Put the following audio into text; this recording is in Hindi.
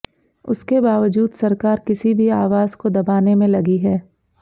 उसके बावजूद सरकार किसी भी आवाज़ को दबाने में लगी है